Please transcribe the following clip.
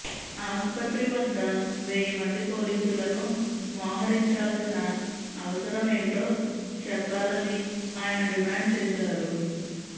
ఆసుపత్రి వద్ద వెయ్యి మంది పోలీసులను మోహరించాల్సిన అవసరం ఏంటో చెప్పాలని ఆయన డిమాండ్ చేశారు